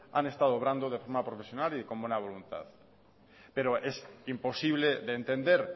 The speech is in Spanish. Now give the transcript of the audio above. han estado obrando de forma profesional y con buena voluntad pero es imposible de entender